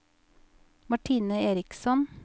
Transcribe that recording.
Martine Eriksson